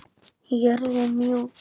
Jörðin mjúk.